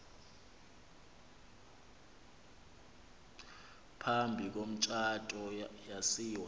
phambi komtshato yasiwa